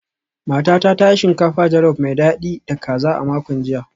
Matata ta yi shinkafa jolof mai dadi da kaza a makon jiya